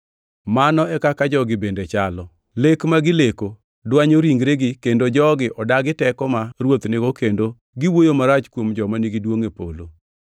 Mano e kaka jogi bende chalo. Lek ma gileko dwanyo ringregi kendo jogi odagi teko ma Ruoth nigo kendo giwuoyo marach kuom joma nigi duongʼ e polo.